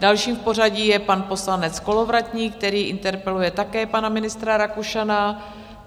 Dalším v pořadí je pan poslanec Kolovratník, který interpeluje také pana ministra Rakušana.